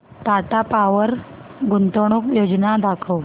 Tata power गुंतवणूक योजना दाखव